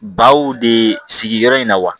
Baw de sigiyɔrɔ in na wa